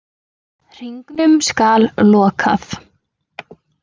Hringnum skal lokað.